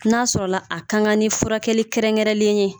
N'a sɔrɔ la a kan ka ni furakɛli kɛrɛn kɛrɛnlen ye.